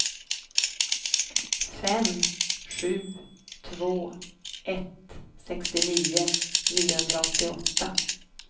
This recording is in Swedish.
fem sju två ett sextionio niohundraåttioåtta